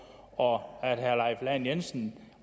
og at herre leif lahn jensen